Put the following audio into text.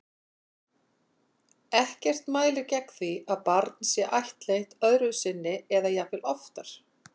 Ekkert mælir gegn því að barn sé ættleitt öðru sinni eða jafnvel oftar.